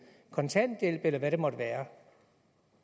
kontanthjælp eller hvad det måtte være